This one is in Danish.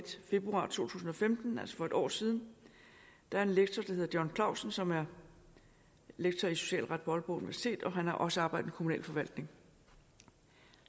februar to tusind og femten altså for et år siden der er en lektor der hedder john klausen som er lektor i socialret på aalborg universitet og han har også arbejdet med kommunal forvaltning